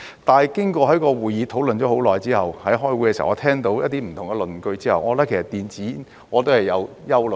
但是，經過會議上討論了很久，我在開會的時候聽到一些不同的論據之後，我對電子煙亦是有憂慮的。